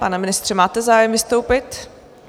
Pane ministře, máte zájem vystoupit?